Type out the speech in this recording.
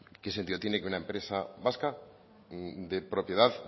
qué sentido tiene que una empresa vasca de propiedad